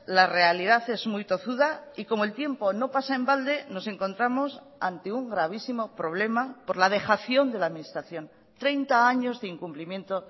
la realidad es muy tozuda y como el tiempo no pasa en balde nos encontramos ante un gravísimo problema por la dejación de la administración treinta años de incumplimiento